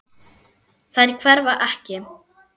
Þær hverfa ekki.